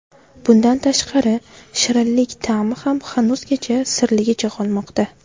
Bundan tashqari, shirinlik ta’mi ham hanuzgacha sirligicha qolmoqda.